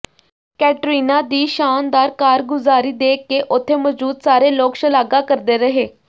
ਕੈਟਰੀਨਾ ਦੀ ਸ਼ਾਨਦਾਰ ਕਾਰਗੁਜ਼ਾਰੀ ਦੇਖ ਕੇ ਉੱਥੇ ਮੌਜੂਦ ਸਾਰੇ ਲੋਕ ਸ਼ਲਾਘਾ ਕਰਦੇ ਰਹੇ